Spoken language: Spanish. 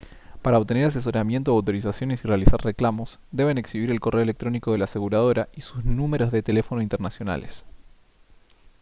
para obtener asesoramiento o autorizaciones y realizar reclamos deben exhibir el correo electrónico de la aseguradora y sus números de teléfono internacionales